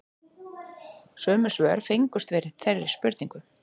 Sömu svör fengust við þeirri spurningu